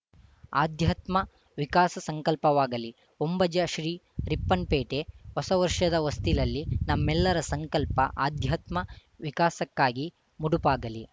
ಆಧ್ಯಾತ್ಮ ವಿಕಾಸ ಸಂಕಲ್ಪವಾಗಲಿ ಹೊಂಬುಜ ಶ್ರೀ ರಿಪ್ಪನ್‌ಪೇಟೆ ಹೊಸ ವರ್ಷದ ಹೊಸ್ತಿಲಲ್ಲಿ ನಮ್ಮೆಲ್ಲರ ಸಂಕಲ್ಪ ಆಧ್ಯಾತ್ಮ ವಿಕಾಸಕ್ಕಾಗಿ ಮುಡುಪಾಗಲಿ